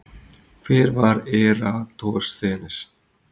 Hver var Eratosþenes?